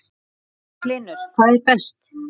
Magnús Hlynur: Hvað er best?